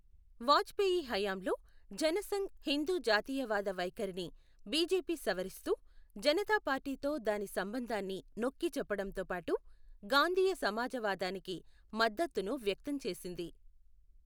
వాజ్పేయి హయాంలో జనసంఘ్ హిందూ జాతీయవాద వైఖరిని బీజేపీ సవరిస్తూ జనతా పార్టీతో దాని సంబంధాన్ని నొక్కి చెప్పడంతో పాటు గాంధీయ సమాజవాదానికి మద్దతును వ్యక్తం చేసింది.